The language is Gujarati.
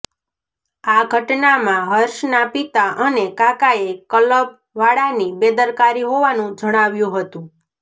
આ ઘટનામાં હર્ષના પિતા અને કાકાએ કલબ વાળાની બેદરકારી હોવાનું જણાવ્યું હતું